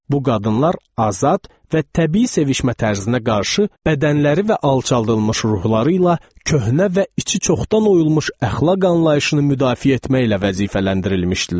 Bu qadınlar azad və təbii sevişmə tərzinə qarşı bədənləri və alçaldılmış ruhları ilə köhnə və içi çoxdan oyulmuş əxlaq anlayışını müdafiə etməklə vəzifələndirilmişdilər.